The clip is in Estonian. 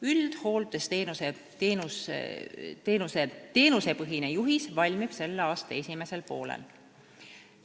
Üldhooldusteenusepõhine juhis valmib selle aasta esimesel poolel.